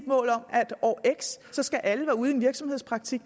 år x skal alle være ude i virksomhedspraktik